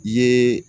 I ye